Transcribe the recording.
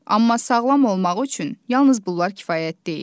Amma sağlam olmaq üçün yalnız bunlar kifayət deyil.